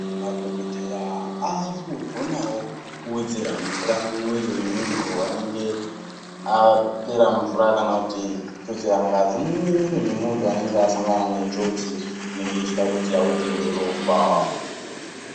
Madhokodheya akugonawo kuwedzera mvura mumwiri memuntu anenge apera mvura kana kuti kututsira ngazi mumwiri memuntu anenge asangana nenjodzi inenge ichida kuti awedzerwe ropa.